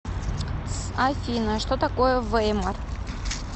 афина что такое веймар